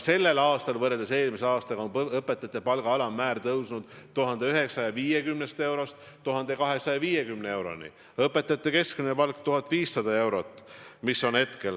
Tänavu on võrreldes eelmise aastaga õpetajate palga alammäär tõusnud 1150 eurolt 1250 euroni, õpetajate keskmine palk on 1500 eurot.